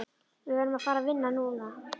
Við verðum að fara vinna núna.